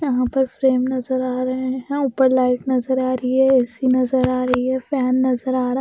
यहाँ पर फ्रेम नजर आ रहे है ऊपर लाइट नजर आ रही है ए_सी नजर आ रही है फैन नजर आ रहा --